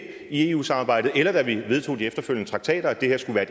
i eu samarbejdet eller da vi vedtog de efterfølgende traktater at det her skulle være